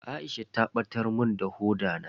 Aisha ta batar mun da hoda na.